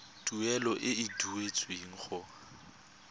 tuelo e e duetsweng go